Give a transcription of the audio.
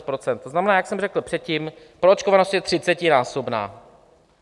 To znamená, jak jsem řekl předtím, proočkovanost je třicetinásobná.